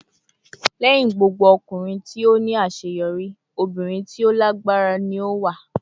"Lẹhin gbogbo ọkunrin ti o ni aṣeyọri, obirin ti o lagbara ni o wa."